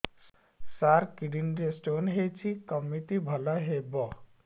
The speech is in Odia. ସାର କିଡ଼ନୀ ରେ ସ୍ଟୋନ୍ ହେଇଛି କମିତି ଭଲ ହେବ